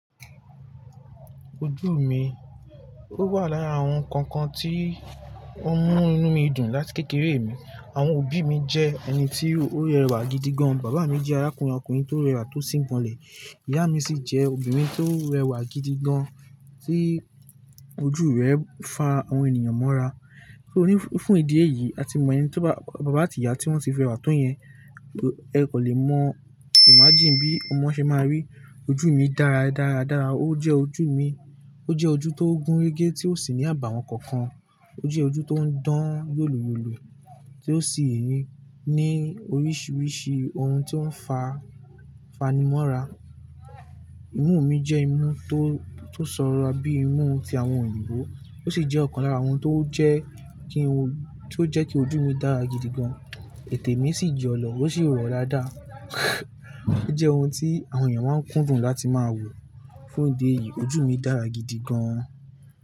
Ojú mi, ó wà láya àwọn kankan tí ó ń mú inú mi dùn láti kékeré mi. Àwọn òbí mi jẹ́ ẹni tí ó rẹwà gidi gan. Bàbá mi jẹ́ arákùnrin ọkùnrin tó rẹwà tó sì ń gbọ̀nlẹ̀. Ìyá mi sì jẹ́ obìnrin tó rẹwà gidi gan tí ojú rẹ̀ ń fa àwọn ènìyàn mọ́ra. Ní fún ìdí èyí, a ti mọ ẹni tí bàbá àti ìyá tí wọ́n sì fi rẹwà tó yẹn, ẹ kò lè mọ imagine bí ọmọ ṣe máa rí ojú mi dára, dára, dára. Ó jẹ́ ojú mi, ó jẹ́ ojú tó gún régé tí ó sì ní àbàwọ́n kankan. Ó jẹ́ ojú tó ń dán yòlòyòlò tí ó sì ní oríṣiríṣi ohun tí ó ń fa fanimọ́ra. Imú mi jẹ́ imú tó tó sọ́ra bíi imú ti àwọn òyìnbó, ó sì jẹ́ ọ̀kan lára àwọn tó jẹ́ kí, tó jẹ́ kí ojú mi dára gidi gan. Ètè mi sì jọ lọ, ó sì rọ̀ dáadáa. Ó jẹ́ ohun tí àwọn èèyàn máa ń kún fún láti máa wò. Fún ìdí èyí ojú mi dára gidi gan.